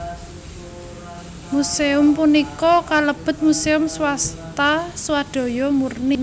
Museum punika kalebet muséum swasta swadaya murni